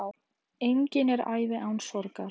Engin er ævi án sorgar.